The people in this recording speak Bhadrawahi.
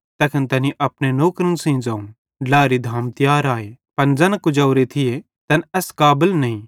तैखन तैनी अपने नौकरन सेइं ज़ोवं ड्लाएरी धाम तियार आए पन ज़ैन कुजोरे थिये तैन एस काबल नईं